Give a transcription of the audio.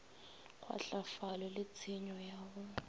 kgwahlafalo le tshenyo ya go